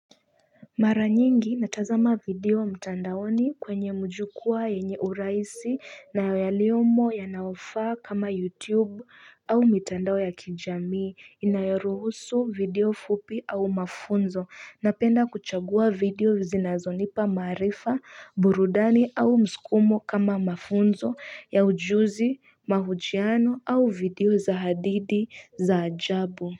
Mara nyingi natazama video mtandaoni kwenye majukwaa yenye uraisi na yaliyomo ya nayofa kama youtube au mitandao ya kijamii inayoruhusu video fupi au mafunzo napenda kuchagua video zinazonipa marifa burudani au mskumo kama mafunzo ya ujuzi mahujiano au video za hadidi za ajabu.